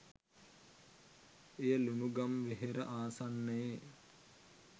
එය ලුණුගම්වෙහෙර ආසන්නයේ